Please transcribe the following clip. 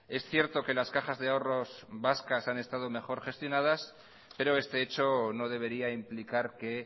es cierto que las cajas de ahorros vascas han estado mejor gestionadas pero este hecho no debería implicar que